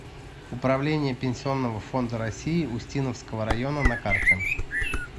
управление пенсионного фонда россии устиновского района на карте